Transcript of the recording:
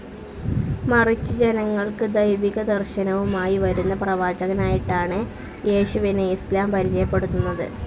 മറിച്ച് ജനങ്ങൾക്ക് ദൈവികദർശനവുമായി വരുന്ന പ്രവാചകനായിട്ടാണ് യേശുവിനെ ഇസ്‌ലാം പരിചയപ്പെടുത്തുന്നത്.